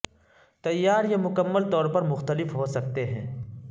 تیار یہ مکمل طور پر مختلف ہو سکتے ہیں